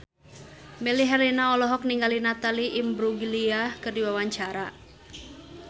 Melly Herlina olohok ningali Natalie Imbruglia keur diwawancara